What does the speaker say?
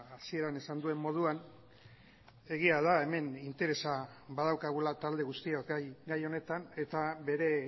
hasieran esan duen moduan egia da hemen interesa badaukagula talde guztiok gai honetan eta bere